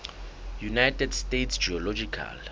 united states geological